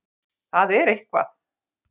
Það er eitthvað.